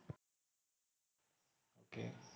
ok